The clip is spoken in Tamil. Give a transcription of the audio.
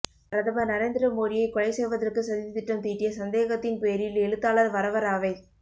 பிரதமர் நரேந்திர மோடியை கொலை செய்வதற்கு சதித்திட்டம் தீட்டிய சந்தேகத்தின் பேரில் எழுத்தாளர் வரவரராவை